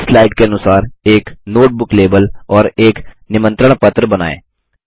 इस स्लाइड के अनुसार एक नोट बुक लेबल और एक निमंत्रण पत्र बनाएँ